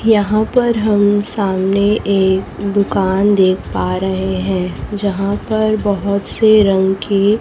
यहाँ पर हम सामने एक दुकान देख पा रहे हैं यहां पर बहुत से रंग की--